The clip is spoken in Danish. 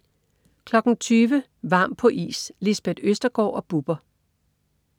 20.00 Varm på is. Lisbeth Østergaard og Bubber